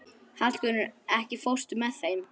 Hallgunnur, ekki fórstu með þeim?